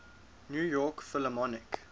new york philharmonic